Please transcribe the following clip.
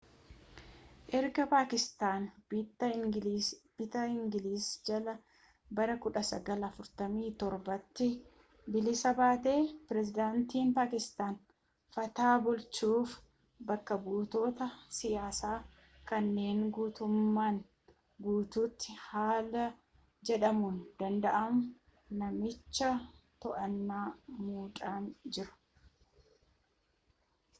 erga paakistaan bittaa ingilizii jalaa bara 1947’tti bilisa baatee pireezidantiin paakistaan fata bulchuuf bakka-buutota siyaasaa” kanneen guutummaan guutuutti haala jedhamuu danda’uun naannicha to’atan muudanii jiru